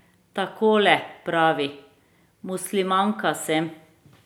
Takole pravi: 'Muslimanka sem.